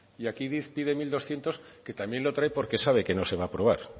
y aquí pide mil doscientos que también lo trae porque sabe que no se va aprobar